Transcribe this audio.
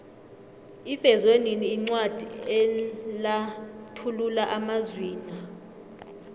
ivezwenini incwadi enlathulula amazwina